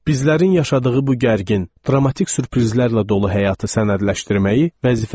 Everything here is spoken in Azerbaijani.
Bizlərin yaşadığı bu gərgin, dramatik sürprizlərlə dolu həyatı sənədləşdirməyi vəzifə saydım.